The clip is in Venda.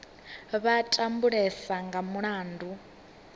vha a tambulesa nga mulandu